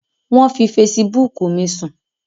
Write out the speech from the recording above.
Wọ́n fi fesibúùkù mi sùn